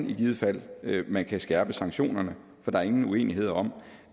i givet fald hvordan man kan skærpe sanktionerne for der er ingen uenighed om